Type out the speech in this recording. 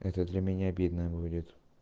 это для меня обидно будет